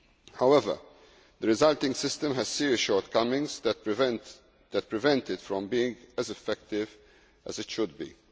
However, the resulting system has serious shortcomings that prevent it from being as effective as it should be.